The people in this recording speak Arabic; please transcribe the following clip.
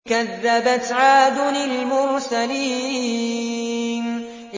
كَذَّبَتْ عَادٌ الْمُرْسَلِينَ